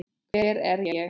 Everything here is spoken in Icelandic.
Hver er ég?